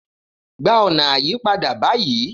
Gba una ayipada bayii